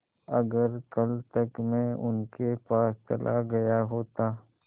अगर कल तक में उनके पास चला गया होता